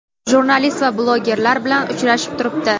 jurnalist va blogerlar bilan uchrashib turibdi.